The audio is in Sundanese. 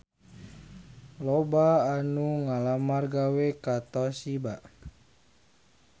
Loba anu ngalamar gawe ka Toshiba